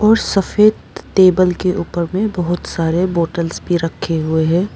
और सफेद टेबल के ऊपर में बहोत सारे बॉटल्स भी रखे हुए हैं।